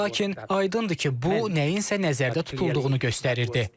Lakin aydındır ki, bu nəyinsə nəzərdə tutulduğunu göstərirdi.